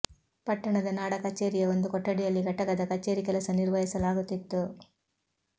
ಪಟ್ಟಣದ ನಾಡ ಕಚೇರಿಯ ಒಂದು ಕೊಠಡಿಯಲ್ಲಿ ಘಟಕದ ಕಚೇರಿ ಕೆಲಸ ನಿರ್ವಹಿಸಲಾಗುತ್ತಿತ್ತು